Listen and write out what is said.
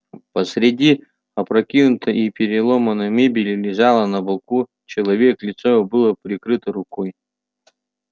посреди опрокинутой и переломанной мебели лежал на боку человек лицо его было прикрыто рукой